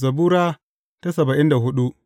Zabura Sura saba'in da hudu